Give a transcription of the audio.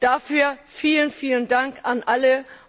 Dafür vielen, vielen Dank an alle!